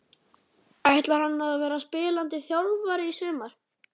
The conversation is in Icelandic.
Ætlar hann að vera spilandi þjálfari í sumar?